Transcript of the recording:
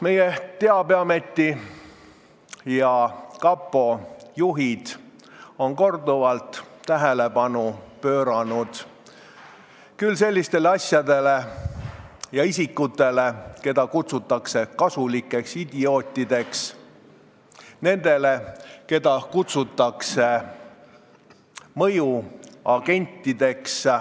Meie Teabeameti ja kapo juhid on korduvalt juhtinud tähelepanu sellistele isikutele, keda kutsutakse kasulikeks idiootideks, nendele, keda kutsutakse mõjuagentideks.